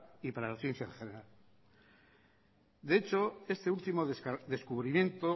y para la ciencia en general de hecho este último descubrimiento